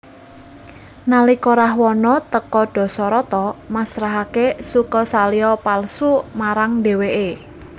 Nalika Rahwana teka Dasarata masrahake Sukasalya palsu marang dheweke